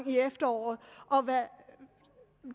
i efteråret om hvad